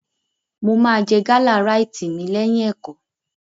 Mo máa jẹ gálà ráìtì mi lẹ́yìn ẹ̀kọ́.